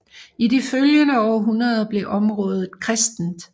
I de følgende århundreder blev området kristent